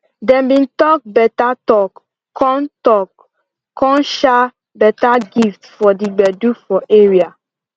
dem bin talk beta talk con talk con shar beta gift for d gbedu for area